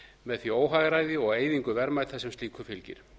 með því óhagræði og eyðingu verðmæta sem slíku fylgir